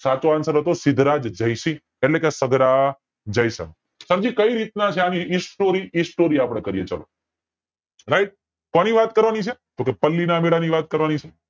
સાચો answer સિદ્ધરાજ જયસિંહ એટલે કે સરજી કય રીતેના છે આની story એ story આપડે કરીયે